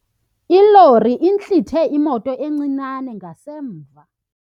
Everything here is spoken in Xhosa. Ilori intlithe imoto encinane ngasemva.